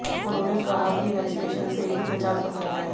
उन्होंने कहा है कि वेक्सिनेशन से ही बचाव संभव है